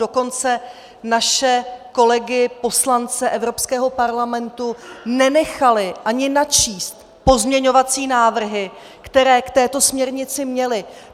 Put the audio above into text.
Dokonce naše kolegy poslance Evropského parlamentu nenechali ani načíst pozměňovací návrhy, které k této směrnici měli.